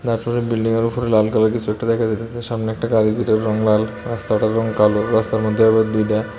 তারপরে বিল্ডিংয়ের উপরে লাল কালারের কিছু একটা দেখা যাইতেছে সামনে একটা গাড়ি যেটার রং লাল রাস্তাটার রং কালো রাস্তার মধ্যে আবার দুইটা--